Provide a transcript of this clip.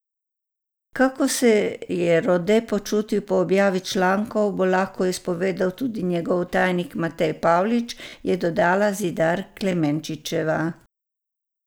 Kako se je Rode počutil po objavi člankov, bo lahko izpovedal tudi njegov tajnik Matej Pavlič, je dodala Zidar Klemenčičeva.